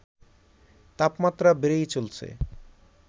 তাপমাত্রা বেড়েই চলছে